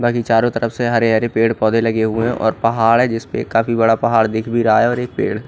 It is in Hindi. बाकि चारो तरफ से हरे हरे पेड़ पोधे लगे हुए है और पहाड़ है इसपे एक काफी बड़ा पहाड़ दिख भी रहा है एक पेड़--